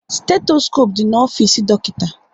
Stetoskope dị na ofisi dọkịta